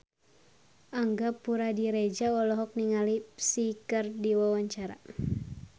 Angga Puradiredja olohok ningali Psy keur diwawancara